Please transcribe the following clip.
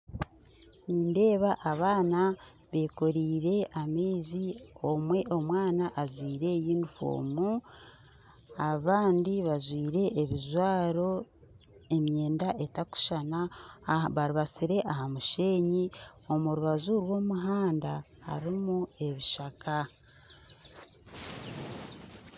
Nindeeba abaana bekoreire amaizi omwe omwana ajwaire yunifoomu abandi bajwaire ebijwaro emyenda etakushushana aha barubasire aha musheenyi omu rubaju rw'omuhanda harimu ebishaka